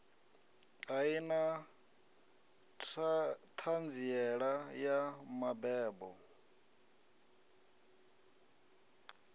ḓa na ṱhanziela ya mabebo